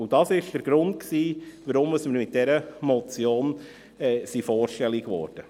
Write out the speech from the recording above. Das war der Grund, weshalb wir mit dieser Motion vorstellig wurden.